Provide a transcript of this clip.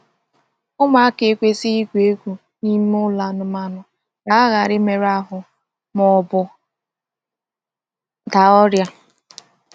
Ụmụaka ekwesịghị igwu egwu n’ime ụlọ anụmanụ ka ha ghara imerụ ahụ ma ọ bụ daa ọrịa.